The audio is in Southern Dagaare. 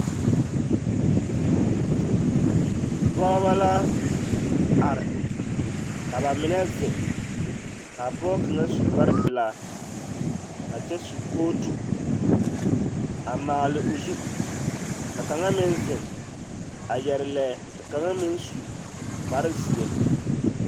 Pɔgebɔ la are ka bamine zeŋ k'a pɔge kaŋa su kpare pelaa a kyɛ su kootu a maale o zu, ka kaŋa meŋ zeŋ a yɛre lɛɛ ka kaŋa meŋ su kpare zeɛ.